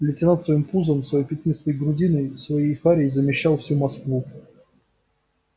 лейтенант своим пузом своей пятнистой грудиной своей харей замещал всю москву